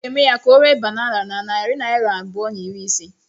M ga-eme ka ọ ree banana na narị naira abụọ na iri ise